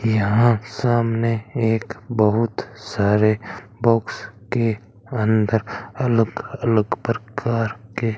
यहां सामने एक बहुत सारे बॉक्स के अंदर अलग अलग प्रकार के --